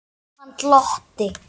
Jóhann glotti.